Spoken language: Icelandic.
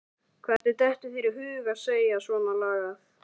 Hvernig dettur þér í hug að segja svonalagað!